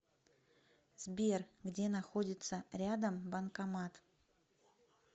сбер где находится рядом банкомат